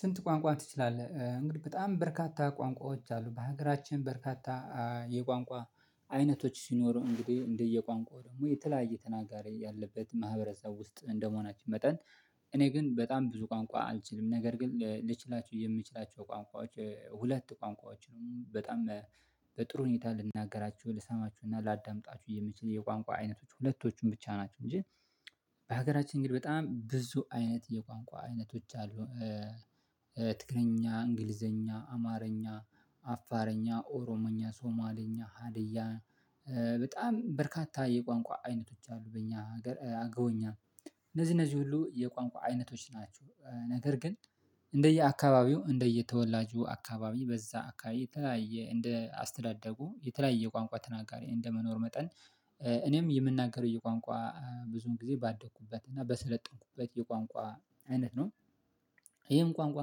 ስንት ቋንቋ ትችላለህ እንግዲህ በጣም በርካታ ቋንቋዎች አሉ በሀገራችን በርካታ የቋንቋ አይነቶች ሲኖሩ እንግዲህ እንደየ ቋንቋው ደግሞ የተለያየ ተናጋሪ ያለበት ማህበረሰብ ውስጥ እንደ መሆናችን መጠን እኔ ግን በጣም ብዙ ቋንቋ አልችልም ነገር ግን ልችላቸው የምችላቸው ቋንቋዎች ሁለት ቋንቋዎችን በጣም በጥሩ ሁኔታ ልናገራችሁ ልሰማችሁና ላዳምጣችሁ የምችል የቋንቋ አይነቶች ሁለቶቹን ብቻ ናቸው እንጂ በሀገራችን ግን በጣም ብዙ አይነት የቋንቋ አይነቶች አሉ ትግረኛ እንግሊዘኛ አማረኛ አፋረኛ ኦሮሞኛ ሶማሌኛ ሀዲያ በጣም በርካታ የቋንቋ አይነቶች አሉ በእኛ ሀገር አገዎኛ እነዚህ እነዚህ ሁሉ የቋንቋ አይነቶች ናቸው ነገር ግን እንደየ አካባቢው እንደየ ተወላጁ አካባቢ በዛ አካባቢ የተለያየ እንደ አስተዳደጉ የተለያየ ቋንቋ ተናጋሪ እንደ መኖር መጠን እኔም የምናገረው የቋንቋ ብዙውን ጊዜ ባደኩበት እና በሰለጠንኩበት የቋንቋ አይነት ነው ይህም ቋንቋ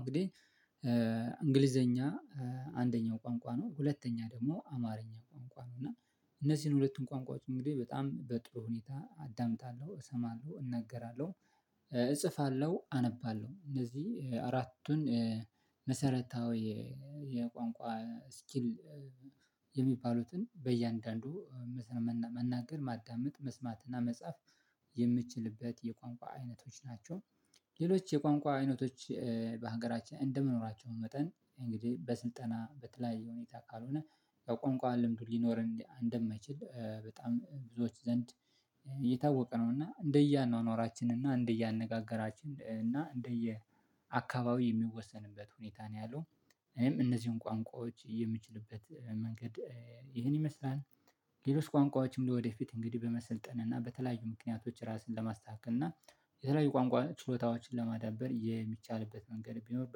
እንግዲህ እንግሊዘኛ አንደኛው ቋንቋ ነው ሁለተኛ ደግሞ አማርኛ ቋንቋ ነው እና እነዚህን ሁለቱን ቋንቋ እንግዲህ በጣም በጥሩ ሁኔታ አዳምጣለሁ እሰማለሁ እናገራለሁ እጽፋለሁ አነባለሁ እነዚህ አራቱን መሰረታዊ የቋንቋ ስኪል የሚባሉትን በእያንዳንዱ መናገር ማዳመጥ መስማት እና መጻፍ የምችልበት የቋንቋ አይነቶች ናቸው ሌሎች የቋንቋ አይነቶች በሀገራችን እንደመኖራቸው መጠን እንግዲህ በስልጠና በተለያየ ሁኔታ ካልሆነ ከቋንቋ ልምዱ ሊኖር እንደማይችል በጣም ብዙዎች ዘንድ እየታወቀ ነው። እና እንደየአኗኗራችን እና እንደየአነጋገራችን እና እንደየአካባቢ የሚወሰንበት ሁኔታ ነው ያለው። እኔም እነዚህን ቋንቋዎች የሚችልበት መንገድ ይሄን ይመስላል። ሌሎች ቋንቋዎችም ለወደፊት እንግዲህ በመሰልጠን እና በተለያዩ ምክንያቶች ራስን ለማስተካከል እና የተለያዩ ቋንቋ ችሎታዎችን ለማዳበር የሚቻልበት መንገድ ቢኖር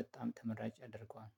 በጣም ተመራጭ ያደርገዋል